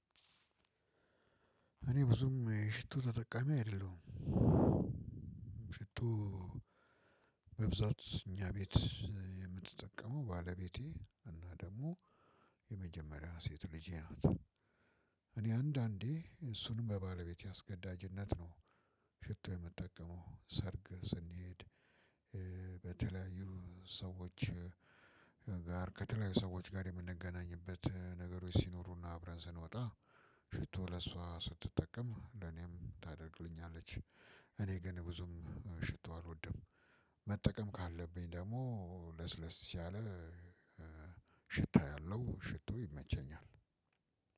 እኔ ብዙም ሽቶ ተጠቃሚ አይደለሁም። ሽቶ በብዛት እኛ ቤት የምትጠቀመው ባለቤቴ እና ደግሞ የመጀመሪያው ሴት ልጄ ናት። እኔ አንዳንዴ እሱንም በባለቤቴ አስገዳጅነት ነው። ሽቶ የምጠቀመው ሰርግ ስንሄድ። በተለያዩ ሰዎች ጋር ከተለያዩ ሰዎች ጋር የምንገናኝበት ነገሮች ሲኖሩና አብረን ስንወጣ። ሽቶ ለእሷ ስትጠቀም ለኔም ታደርግልኛለች። እኔ ግን ብዙም ሽቶ አልወድም። መጠቀም ካለብኝ ደግሞ ለስለስ ያለ። ሽታ ያለው ሽቶ ይመቸኛል።